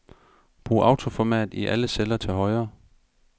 Brug autoformat i alle celler til højre.